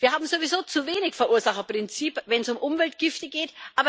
Wir haben sowieso zu wenig Verursacherprinzip, wenn es um Umweltgifte geht.